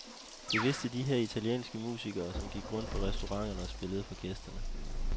Det vidste de her italienske musikere, som gik rundt på restauranterne og spillede for gæsterne.